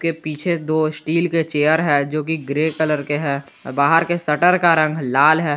पीछे दो स्टील के चेयर है जो की ग्रे कलर के है बाहर के शटर का रंग लाल है।